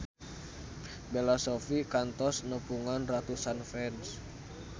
Bella Shofie kantos nepungan ratusan fans